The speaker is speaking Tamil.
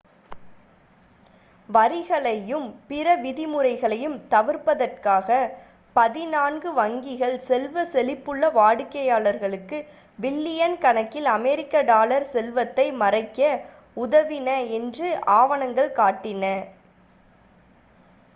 வரிகளையும் பிற விதிமுறைகளையும் தவிர்ப்பதற்காக பதினான்கு வங்கிகள் செல்வ செழிப்புள்ள வாடிக்கையாளர்களுக்கு பில்லியன் கணக்கில் அமெரிக்க டாலர் செல்வத்தை மறைக்க உதவின என்று ஆவணங்கள் காட்டின